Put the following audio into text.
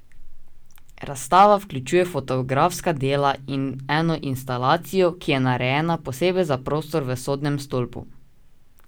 Razstava vključuje fotografska dela in eno instalacijo, ki je narejena posebej za prostor v Sodnem stolpu.